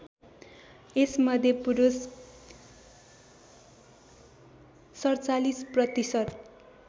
यसमध्ये पुरुष ४७ प्रतिशत